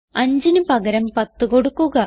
5ന് പകരം 10 കൊടുക്കുക